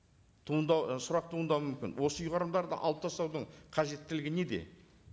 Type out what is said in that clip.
туындау і сұрақ туындау мүмкін осы ұйғарымдарды алып тастаудың қажеттілігі неде